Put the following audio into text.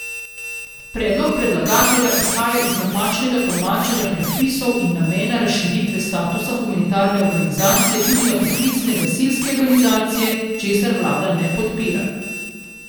Predlog predlagatelja izhaja iz napačnega tolmačenja predpisov in namena razširitve statusa humanitarne organizacije tudi na poklicne gasilske organizacije, česar vlada ne podpira.